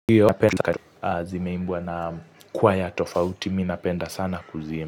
Hiyo napenda katoa zimeimbwa na kwaya tofauti mi napenda sana.